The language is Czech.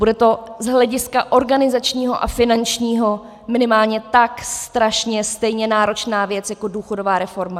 Bude to z hlediska organizačního a finančního minimálně tak strašně stejně náročná věc jako důchodová reforma.